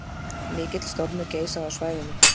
Mikill stormur geisaði á svæðinu